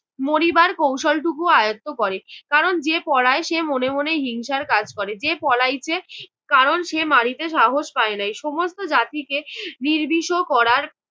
মরিবার কৌশলটুকু আয়ত্ত করে কারণ যে পলায় সে মনে মনে হিংসার কাজ করে যে পলাইছে কারণ সে মারিতে সাহস পায় নাই। সমস্ত জাতিকে নির্বিষ করার